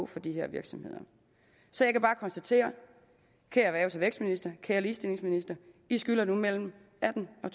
for de her virksomheder så jeg kan bare konstatere kære erhvervs og vækstminister og kære ligestillingsminister i skylder nu mellem atten og